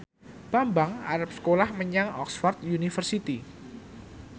Bambang arep sekolah menyang Oxford university